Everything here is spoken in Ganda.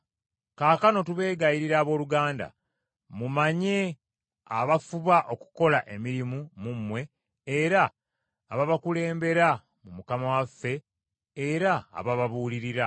Kaakano tubeegayirira abooluganda, mumanye abafuba okukola emirimu mu mmwe era ababakulembera mu Mukama waffe era abababuulirira,